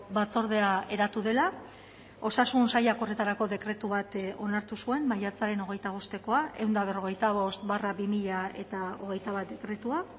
batzordea eratu dela osasun sailak horretarako dekretu bat onartu zuen maiatzaren hogeita bostekoa ehun eta berrogeita bost barra bi mila hogeita bat dekretua